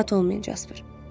Narahat olmayın Jasper.